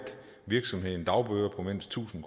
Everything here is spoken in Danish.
virksomheden dagbøder på mindst tusind